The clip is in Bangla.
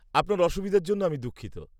-আপনার অসুবিধার জন্য আমি দুঃখিত।